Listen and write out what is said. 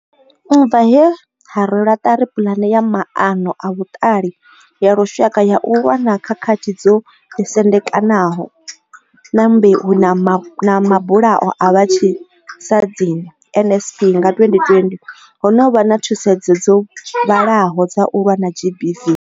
U bva he ha rwelwa ṱari puḽane ya maano a vhuṱali ya lushaka ya u lwa na khakhathi dzo ḓisendekaho nga mbeu na mabulayo a vhatshi sadzini NSP nga 2020, ho no vha na thusedzo dzo vhalaho dza u lwa na GBV.